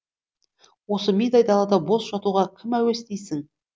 осы мидай далада бос жатуға кім әуес дейсің